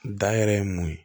Da yɛrɛ ye mun ye